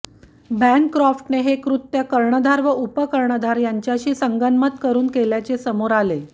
बॅनक्रॉफ्टने हे कृत्य कर्णधार व उपकर्णधार यांच्याशी संगनमत करून केल्याचे समोर आले